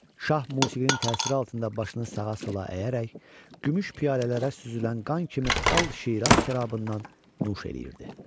Şah musiqinin təsiri altında başını sağa-sola əyərək, gümüş piyalələrə süzülən qan kimi al Şiraz şərabından nuş eləyirdi.